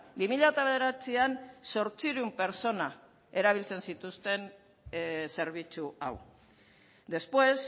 bi mila bederatzian zortziehun pertsona erabiltzen zituzten zerbitzu hau después